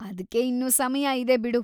ಅದ್ಕೆ ಇನ್ನೂ ಸಮಯ ಇದೆ ಬಿಡು.